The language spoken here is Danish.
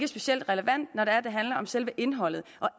specielt relevant når det handler om selve indholdet for